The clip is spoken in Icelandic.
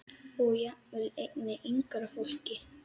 Og jafnvel einnig yngra fólki.